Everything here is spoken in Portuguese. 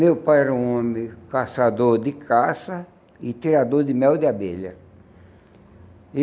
Meu pai era um homem caçador de caça e tirador de mel de abelha. E